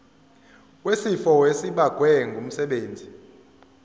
wesifo esibagwe ngumsebenzi